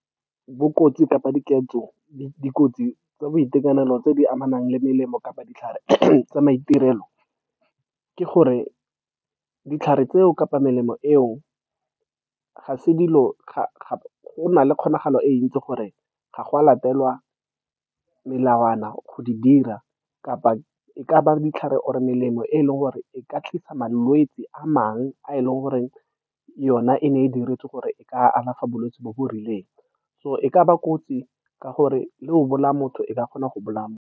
Bo kotsi kapa diketso, dikotsi tsa boitekanelo tse di amanang le melemo kapa ditlhare tsa maitirelo, ke gore ditlhare tseo kapa melemo eo, ga se dilo, gona le kgonagalo e ntsi gore, ga go a latelwa melawana, go di dira kapa e ka ba ditlhare or melemo e e leng gore e ka tlisa malwetse a mangwe a e leng gore yona e ne e diretswe gore e ka alafa bolwetse jo bo rileng. So e ka ba kotsi ka gore le go bolaya motho, e ka kgona go bolaya motho.